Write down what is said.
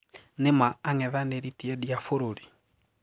Ni maa ang'ethaniri tii endi aa bũrũrĩ?